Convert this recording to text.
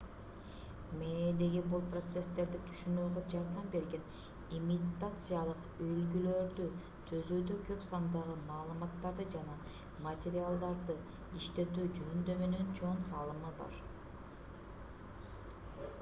мээдеги бул процесстерди түшүнүүгө жардам берген имитациялык үлгүлөрдү түзүүдө көп сандагы маалыматтарды жана материалдарды иштетүү жөндөмүнүн чоң салымы бар